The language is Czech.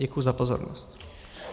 Děkuji za pozornost.